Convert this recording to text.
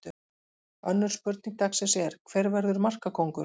Önnur spurning dagsins er: Hver verður markakóngur?